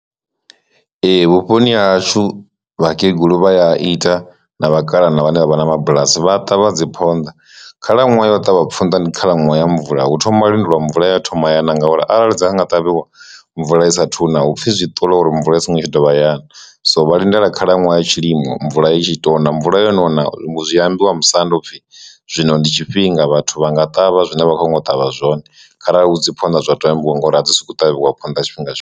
Ee, vhuponi hashu vhakegulu vha ya a ita na vhakalaha na vhane vha vha na mabulasi vha ṱavha dzi phonḓa, khalaṅwaha yo ṱavha ponḓa ndi khalaṅwaha ya mvula hu thoma lindelwa mvula ya thoma yana nga uri arali dza nga nga ṱavhiwa mvula i saathu na hupfi zwi ṱola uri mvula i songo tsha dovha ya na. So vha lindela khalaṅwaha ya tshilimo mvula i tshi to na mvula yono na zwi ambiwa musanda upfhi zwino ndi tshifhinga vhathu vha nga ṱavha zwine vha khou ngo ṱavha zwone kharali hu dzi phonḓa zwa to ambiwa ngori a dzi soko ṱavhiwa phonḓa tshifhinga tshiṅwe.